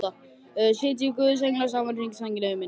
Sitji guðs englar saman í hring, sænginni yfir minni.